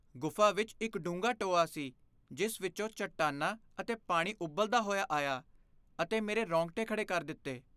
ਗੁਫ਼ਾ ਵਿੱਚ ਇੱਕ ਡੂੰਘਾ ਟੋਆ ਸੀ ਜਿਸ ਵਿੱਚੋਂ ਚਟਾਨਾਂ ਅਤੇ ਪਾਣੀ ਉਬਲਦਾ ਹੋਇਆ ਆਇਆ ਅਤੇ ਮੇਰੇ ਰੌਂਗਟੇ ਖੜ੍ਹੇ ਕਰ ਦਿੱਤੇ।